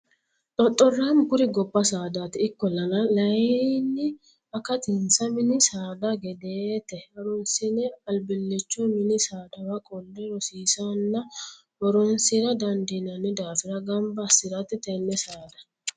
Xoxoramu kuri gobba saadati ikkollanna layinni akatinsa mini saada gedete harunsine albilicho mini saadawa qolle rosiisana horonsira dandiinanni daafira gamba assirate tene saada.